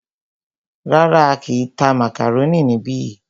Rárá,á kìí tá màkàrónì níbi yìí.